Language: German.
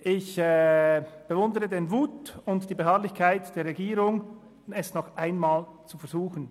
Ich bewundere den Mut und die Beharrlichkeit der Regierung, es nochmal zu versuchen.